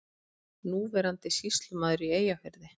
Núverandi sýslumaður í Eyjafirði.